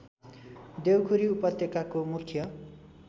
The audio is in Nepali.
देउखुरी उपत्यकाको मुख्य